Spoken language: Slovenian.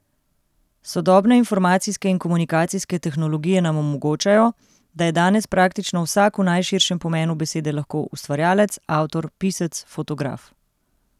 Sodobne informacijske in komunikacijske tehnologije nam omogočajo, da je danes praktično vsak v najširšem pomenu besede lahko ustvarjalec, avtor, pisec, fotograf.